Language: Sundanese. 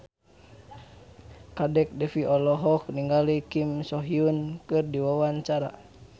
Kadek Devi olohok ningali Kim So Hyun keur diwawancara